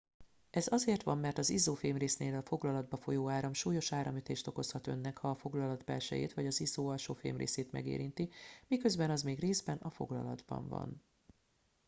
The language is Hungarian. ez azért van mert az izzó fémrésznél a foglalatba folyó áram súlyos áramütést okozhat önnek ha a foglalat belsejét vagy az izzó alsó fémrészét megérinti miközben az még részben a foglalatban van